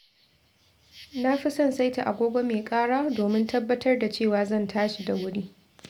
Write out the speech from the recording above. Na fi son saita agogo mai ƙara domin tabbatar da cewa zan tashi da wuri.